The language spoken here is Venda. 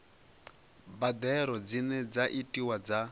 mbadelo dzine dza itiwa dza